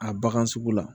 A bagan sugu la